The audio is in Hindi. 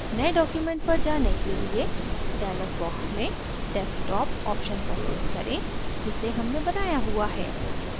नये document पर जाने के लिए dialog box में desktop option पर click करें जिसे हमने बनाया हुआ है